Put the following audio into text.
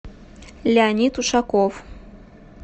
леонид ушаков